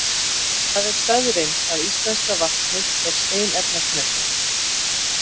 Það er staðreynd að íslenska vatnið er steinefnasnautt.